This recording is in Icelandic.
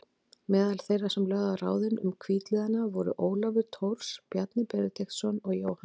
Meðal þeirra sem lögðu á ráðin um hvítliðana voru Ólafur Thors, Bjarni Benediktsson og Jóhann